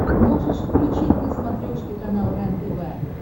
можешь включить на смотрешке канал рентв